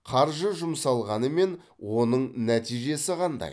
қаржы жұмсалғанымен оның нәтижесі қандай